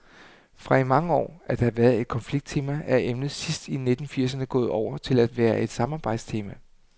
Fra i mange år at have været et konflikttema er emnet sidst i nitten firserne gået over til at være et samarbejdstema.